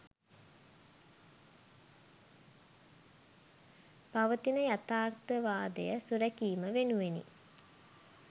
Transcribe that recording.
පවතින යථාර්ථවාදය සුරැකීම වෙනුවෙනි.